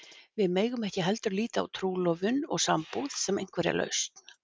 Við megum ekki heldur líta á trúlofun og sambúð sem einhverja lausn.